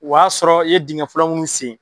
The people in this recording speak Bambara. O y'a sɔrɔ i ye dingɛ fɔlɔ mun sen